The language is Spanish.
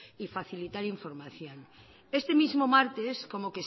y facilitar información este mismo martes